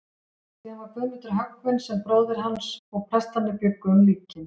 Síðan var Guðmundur höggvinn sem bróðir hans, og prestarnir bjuggu um líkin.